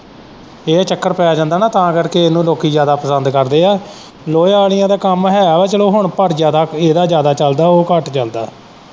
ਇਹ ਚੱਕਰ ਪੈ ਜਾਂਦਾ ਨਾ ਤਾਂ ਕਰਕੇ ਇਹਨੂੰ ਲੋਕੀਂ ਜ਼ਿਆਦਾ ਪਸੰਦ ਕਰਦੇ ਆ ਲੋਹੇ ਆਲ਼ੀਆਂ ਦਾ ਕੰਮ ਹੈ ਵਾ, ਪਰ ਚੱਲੋ ਹੁਣ ਪਰ ਇਹਦਾਂ ਜ਼ਿਆਦਾ ਚੱਲਦਾ ਉਹ ਘੱਟ ਚੱਲਦਾ।